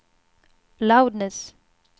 loudness